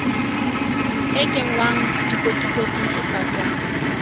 e kenngwang dikotikoting e pakwang